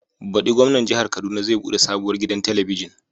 Baɗi Gwamnan Jihar Kaduna zai buɗe sabuwar gidan telibijin.